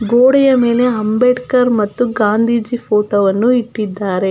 ಗೋಡೆಯ ಮೆಲೆ ಅಂಬೇಡ್ಕರ್ ಮತ್ತು ಗಾಂಧೀಜಿ ಫೊಟೊ ವನ್ನು ಇಟ್ಟಿದ್ದಾರೆ.